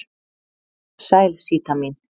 Sæl Síta mín.